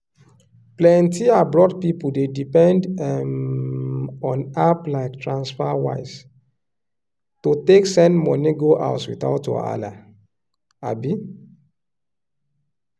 plenti abroad people dey depend um on app like transferwise to take send money go house without wahala. um